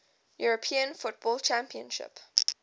european football championship